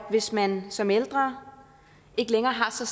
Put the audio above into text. hvis man som ældre ikke længere har så